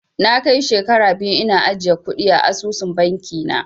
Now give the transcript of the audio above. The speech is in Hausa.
Na kai shekara biyu ina ajiye kuɗi a asusun bankin na